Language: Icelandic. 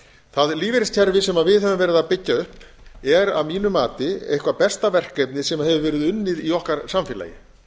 það lífeyriskerfi sem við höfum verið að byggja upp er að mínu mati eitthvert besta verkefni sem hefur verið unnið í okkar samfélagi